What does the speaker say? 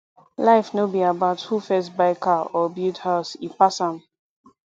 life no be about who first buy car or build house e pass am